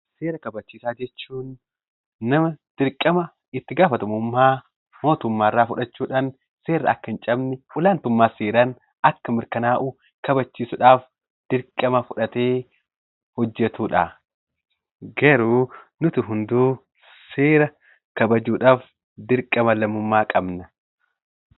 Seera kabachiisaa jechuun nama dirqama itti gaafatamummaa mootummaarraa fudhachuudhan seerri akka hin cabne, olaantummaa seeraan akka mirkanaa'u kabachiisudhaf dirqama fudhatee hojjetudha. Garuu nutu hunduu seera kabajuudhaf dirqama lammummaa qabna.